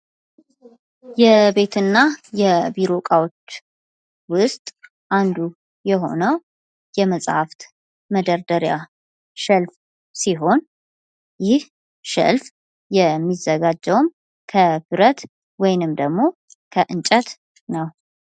የቤትና የቢሮ ዕቃዎች ውስጥ አንዱ የሆነው የመፅሐፍት መደርደሪያ ሸልፍ ሲሆን ይህ ሸልፍ የሚዘጋጀውም ከብረት ወይንም ደግሞ ከእንጨት ነው ።